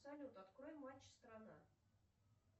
салют открой матч страна